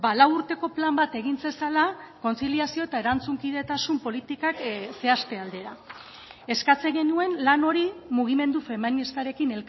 lau urteko plan bat egin zezala kontziliazio eta erantzunkidetasun politikak zehazte aldera eskatzen genuen lan hori mugimendu feministarekin